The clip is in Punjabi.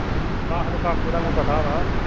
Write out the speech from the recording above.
ਆਹੋ ਤੇ ਕਾਕੂ ਦਾ ਮੈਨੂੰ ਪਤਾ ਵਾ।